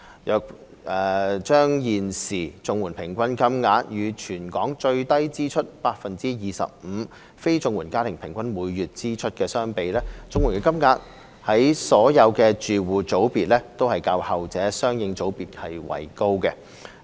若把現時綜援平均金額與全港最低支出 25% 的非綜援家庭每月的平均支出相比，綜援金額在所有住戶組別都較後者的相應組別為高。